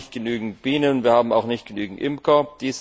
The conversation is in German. Wir haben nicht genügend Bienen, wir haben auch nicht genügend Imker.